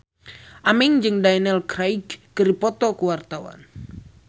Aming jeung Daniel Craig keur dipoto ku wartawan